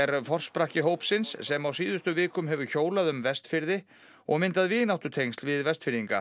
er forsprakki hópsins sem á síðustu vikum hefur hjólað um Vestfirði og myndað vináttutengsl við Vestfirðinga